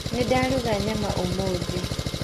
Nĩndaruga nyama ũmũthĩ.